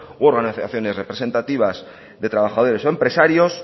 u organizaciones representativas de trabajadores o empresarios